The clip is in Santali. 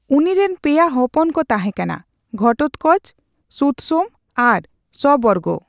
ᱩᱱᱤᱨᱮᱱ ᱯᱮᱭᱟ ᱦᱚᱯᱚᱱ ᱠᱚ ᱛᱟᱦᱮᱸ ᱠᱟᱱᱟ ᱜᱷᱴᱳᱛᱠᱚᱪ, ᱥᱩᱛᱥᱳᱢ ᱟᱨ ᱥᱚᱵᱚᱨᱜᱽ ᱾